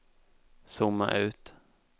zooma ut